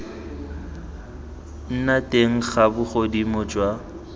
nna teng ga bogodimo jwa